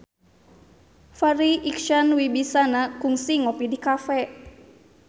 Farri Icksan Wibisana kungsi ngopi di cafe